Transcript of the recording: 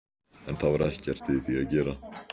En það var víst ekkert við því að gera.